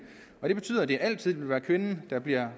det betyder at det altid vil være kvinden der bliver